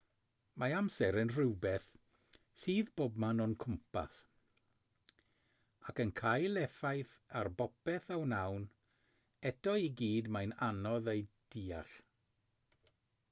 mae amser yn rhywbeth sydd bobman o'n cwmpas ac yn cael effaith ar bopeth a wnawn eto i gyd mae'n anodd ei ddeall